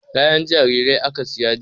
Kayan jarirai aka saya jiya.